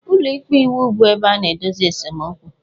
Ụlọ ikpe iwu bụ ebe a na-edozi esemokwu.